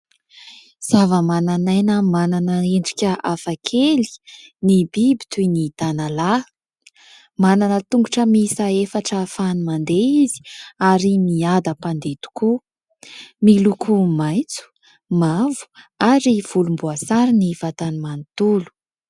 Zava-manan'aina manana endrika hafakely ny biby toy ny tanalahy; manana tongotra miisa efatra ahafahany mandeha izy ary miadam-pandeha tokoa. Miloko maitso, mavo, ary volomboasary ny vatany manontolo.